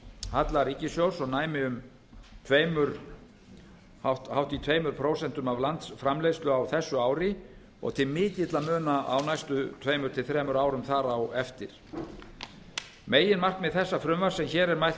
halla ríkissjóðs sem næmi um hátt í tvö prósent af landsframleiðslu á þessu ári og til mikilla muna á næstu tveimur til þremur árum þar á eftir meginmarkmið þessa frumvarps sem hér er mælt